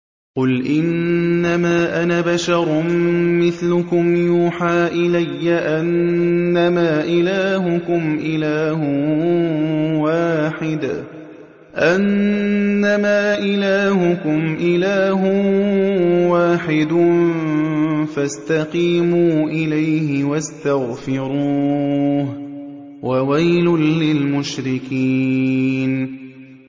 قُلْ إِنَّمَا أَنَا بَشَرٌ مِّثْلُكُمْ يُوحَىٰ إِلَيَّ أَنَّمَا إِلَٰهُكُمْ إِلَٰهٌ وَاحِدٌ فَاسْتَقِيمُوا إِلَيْهِ وَاسْتَغْفِرُوهُ ۗ وَوَيْلٌ لِّلْمُشْرِكِينَ